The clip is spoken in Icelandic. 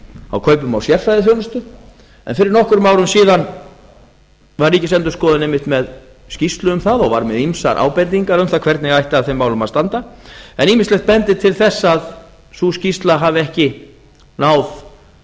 á kaupum á sérfræðiþjónustu en fyrir nokkrum árum síðan var ríkisendurskoðun einmitt með skýrslu um það og var með ýmsar ábendingar um það hvernig ætti að þeim málum að standa en ýmislegt bendir til þess að sú skýrsla hafi ekki náð